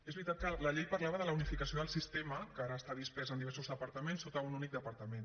és veritat que la llei parlava de la unificació del sistema que ara està dispers en diversos departaments sota un únic departament